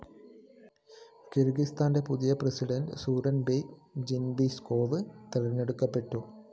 കിര്‍ഗിസ്ഥാന്റെ പുതിയ പ്രസിഡന്റായി Sooronbay Jeenbekov തെരഞ്ഞെടുക്കപ്പെട്ടു